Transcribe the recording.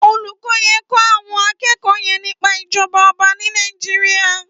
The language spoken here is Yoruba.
Ólúkò yèn n kò áwòn ákèékò yèn nìpá ijòbá òbá ni Nàijiriá